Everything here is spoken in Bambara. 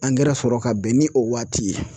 sɔrɔ ka bɛn ni o waati ye.